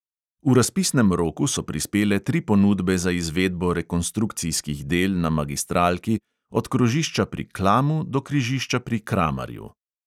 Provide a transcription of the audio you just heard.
V razpisnem roku so prispele tri ponudbe za izvedbo rekonstrukcijskih del na magistralki od krožišča pri klamu do križišča pri kramarju.